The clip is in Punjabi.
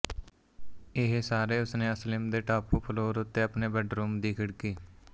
ਇਹ ਸਾਰੇ ਉਸਨੇ ਅਸਿਲਮ ਦੇ ਟਾਪ ਫਲੋਰ ਉੱਤੇ ਆਪਣੇ ਬੈੱਡਰੂਮ ਦੀ ਖਿੜਕੀ